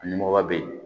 Nimɔgɔ bɛ yen